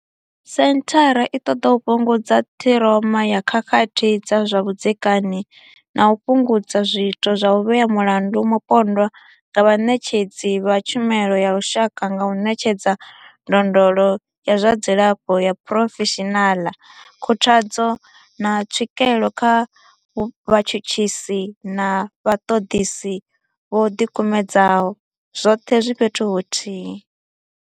Senthara i ṱoḓa u fhungudza ṱhiroma ya khakhathi dza zwa vhudzekani na u fhungudza zwiito zwa u vhea mulandu mupondwa nga vhaṋetshedzi vha tshumelo ya lushaka nga u ṋetshedza ndondolo ya zwa dzilafho ya phurofeshinala, khuthadzo, na tswikelo kha vhatshutshisi na vhaṱoḓisi vho ḓikumedzaho, zwoṱhe zwi fhethu huthihi.